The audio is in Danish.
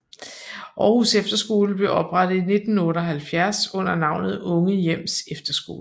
Aarhus Efterskole blev oprettet i 1978 under navnet Unge Hjems Efterskole